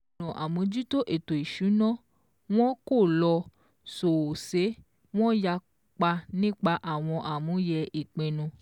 Ọ̀nà àmójútó ètò ìsúná wón kò lọ sòòsé, wón yapa nípa àwọn àmúyẹ̀ ìpínnu